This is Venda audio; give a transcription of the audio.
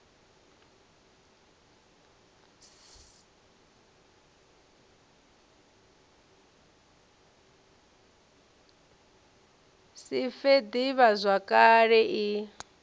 si fe d ivhazwakale i